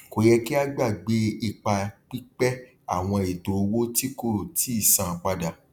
kò yẹ kí a gbàgbé ipa pípẹ àwọn ètò owó tí kò tíì san padà